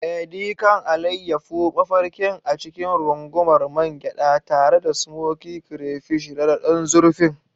Edi kan, alayyafo mafarkin a cikin rungumar man gyada, tare da smokey crayfish rada don zurfin.